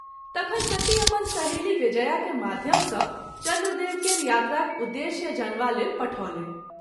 तखन सती अपन सहेली विजया के माध्यम सँ चन्द्र देव केर यात्राक उद्देश्य जानवा लेल पठौलनि।